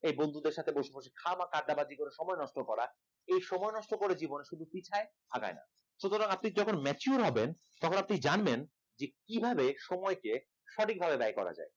এই বন্ধুদের সাথে বসে বসে খামকা আড্ডাবাজি সময় নষ্ট করা এই সময় নষ্ট করে জীবনে পিছায় আগায় না সুতরাং আপনি যখন mature হবেন তখন আপনি জানবেন যে কিভাবে সময়কে সঠিকভাবে ব্যয় করা যায়